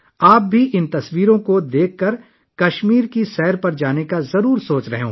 یہ تصاویر دیکھ کر آپ بھی کشمیر کی سیر پر جانے کا سوچ رہے ہوں گے